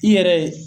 I yɛrɛ